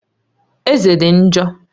Eze dị njọ